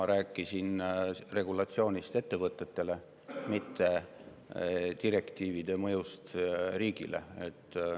Ma rääkisin regulatsioonist ettevõtetele, mitte direktiivide mõjust riigile.